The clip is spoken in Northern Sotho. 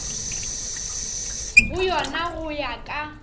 go yona go ya ka